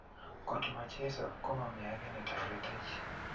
kot ma cheso ko mami age ne taretech